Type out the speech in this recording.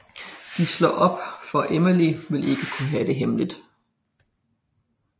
De slår op for Emily vil ikke have det hemmeligt